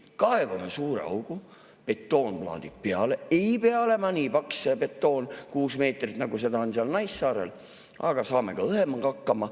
Kaevame suure augu, betoonplaadid peale, ei pea olema väga paks betoon, kuus meetrit, nagu on seal Naissaarel, saame ka õhemaga hakkama.